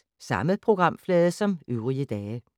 Samme programflade som øvrige dage